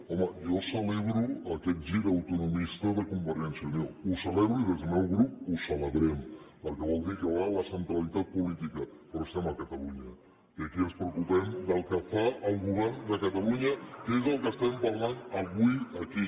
home jo celebro aquest gir autonomista de convergència i unió el celebro i des del meu grup ho celebrem perquè vol dir que va a la centralitat política però som a catalunya i aquí ens preocupem del que fa el govern de catalunya que és del que parlem avui aquí